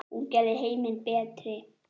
Hún gerði heiminn betri.